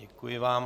Děkuji vám.